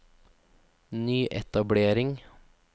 nyetablering